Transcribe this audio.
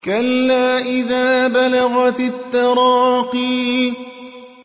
كَلَّا إِذَا بَلَغَتِ التَّرَاقِيَ